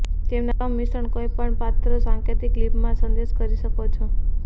તેમના ક્રમ મિશ્રણ કોઈપણ પાત્ર સાંકેતિક લિપિમાં સંદેશ કરી શકો છો